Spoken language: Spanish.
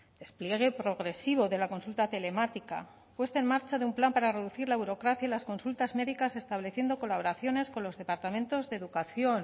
despliegue progresivo de la consulta telemática puesta en marcha de un plan para reducir la burocracia y las consultas médicas estableciendo colaboraciones con los departamentos de educación